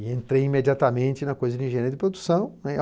E entrei imediatamente na coisa de engenharia de produção, né.